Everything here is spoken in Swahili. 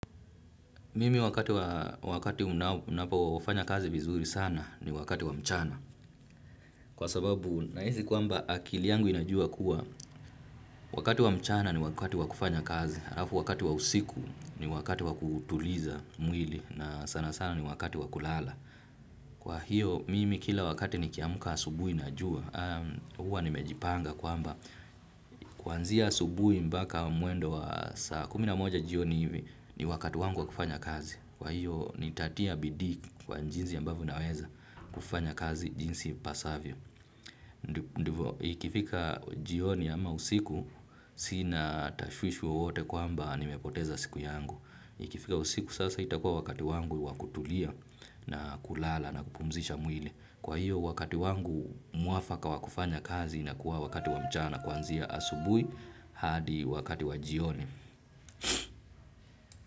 Mimi wakati, wakati unapofanya kazi vizuri sana ni wakati wa mchana. Kwa sababu nahisi kwamba akili yangu inajua kuwa wakati wa mchana ni wakati wa kufanya kazi. Alafu wakati wa usiku ni wakati wa kutuliza mwili na sana sana ni wakati wa kulala. Kwa hiyo, mimi kila wakati nikiamka asubuhi najua. Hua nimejipanga kwamba kuanzia asubuhi mpaka mwendo wa saa kumi na moja jioni hivi ni wakati wangu wa kufanya kazi. Kwa hiyo nitatia bidii kwa jinsi ambavyo naweza kufanya kazi jinsi ipasavyo. Ikifika jioni ama usiku sina tashwishwi wowote kwamba nimepoteza siku yangu. Ikifika usiku sasa itakuwa wakati wangu wa kutulia na kulala na kupumzisha mwili. Kwa hiyo wakati wangu mwafaka wa kufanya kazi inakuwa wakati wa mchana kuanzia asubuhi hadi wakati wa jioni.